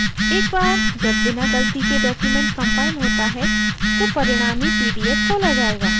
एक बार जब बिना गलती के document compiled होता है तो परिणामी pdf खोला जायेगा